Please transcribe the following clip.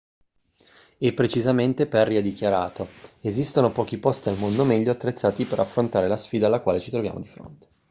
e precisamente perry ha dichiarato esistono pochi posti al mondo meglio attrezzati per affrontare la sfida alla quale ci troviamo di fronte